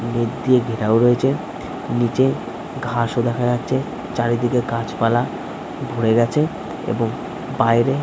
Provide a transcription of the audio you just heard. মেঘ দিয়ে ঘেরাও রয়েছে নিচে ঘাস ও দেখা যাচ্ছে চারিদিকে গাছপালা ভরে গেছে এবং বাইরে ।